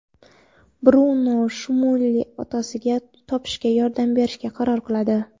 Bruno Shmuelga otasini topishga yordam berishga qaror qiladi.